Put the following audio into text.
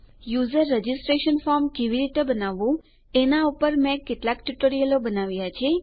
user registration form કેવી રીતે બનાવવું એના પર મેં કેટલાક ટ્યુટોરીયલો બનાવ્યા છે